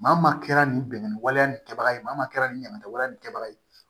Maa maa kɛra nin bɛnkanni waleya nin kɛbaga ye maa min ka kɛ ni ɲamantɛ nin kɛbaga ye